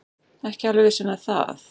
Ekki alveg viss með það.